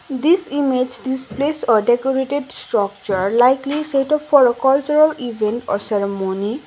this image displays a decorated structure likely setup for a cultural event or ceremony.